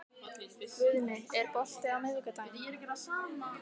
Guðni, er bolti á miðvikudaginn?